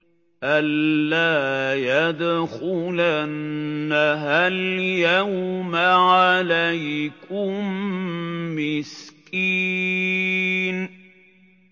أَن لَّا يَدْخُلَنَّهَا الْيَوْمَ عَلَيْكُم مِّسْكِينٌ